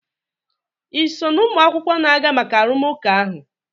ị so na ụmụ akwụkwọ na-aga maka arụmụka ahụ?